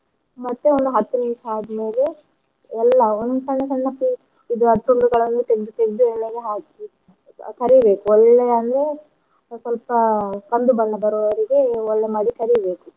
ಮತ್ತೆ ಒಂದು ಹತ್ತು ನಿಮಿಷ ಆದ್ ಮೇಲೆ ಎಲ್ಲಾ ಒಂದು ಸಣ್ಣ ಸಣ್ಣ piece ಇದು ತುಂಡು ಗಳನ್ನು ತೆಗ್ದು ತೆಗ್ದು ಎಣ್ಣೆಗೇ ಹಾಕಿ ಕರಿಬೇಕು ಒಳ್ಳೇ ಅಂದ್ರೆ ಸ್ವಲ್ಪ ಕಂದು ಬಣ್ಣ ಬರುವವರೆಗೂ ಒಳ್ಳೇ ಮಾಡಿ ಕರೀಬೇಕು.